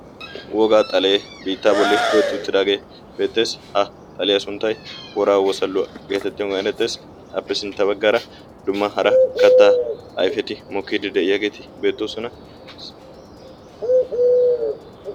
wogaa xalee biittaa bolli tohetti uuttidaagee beetteessi ha xaliyaa sunttay woraa wosalluwaa' geetettiyoogan erettees. appe sintta baggaara dumma hara kattaa ayfeti mokkiiddi de'iyaageeti beettoosona